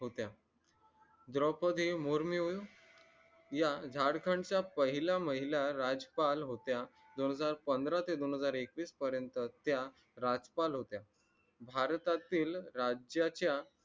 होत्या द्रौपदी मुर्मून या झारखंडच्या पहिल्या महिला राजपाल होत्या दोन हजार पंधरा ते दोन हजार एकवीस पर्यंत त्या राज्यपाल होत्या भारतातील राज्याच्या